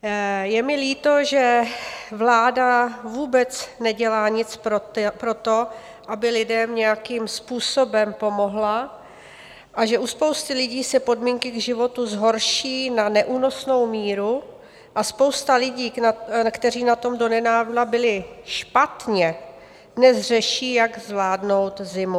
Je mi líto, že vláda vůbec nedělá nic pro to, aby lidem nějakým způsobem pomohla, a že u spousty lidí se podmínky k životu zhorší na neúnosnou míru a spousta lidí, kteří na tom donedávna byli špatně, dnes řeší, jak zvládnout zimu.